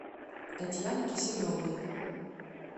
татьяны киселевой